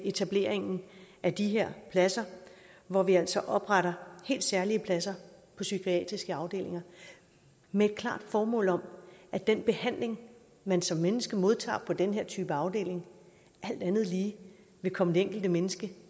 etableringen af de her pladser hvor vi altså opretter helt særlige pladser på psykiatriske afdelinger med et klart formål om at den behandling man som menneske modtager på den her type afdeling alt andet lige vil komme det enkelte menneske